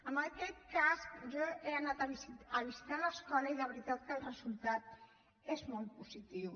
en aquest cas jo he anat a visitar l’escola i de veritat que el resultat és molt positiu